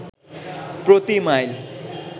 প্রতি মাইল